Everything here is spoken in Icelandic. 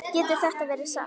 Getur þetta verið satt?